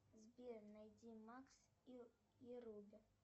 сбер найди макс и руби